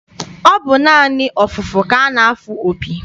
Ọ bụ naanị ọfụfụ ka a na-afụ opi.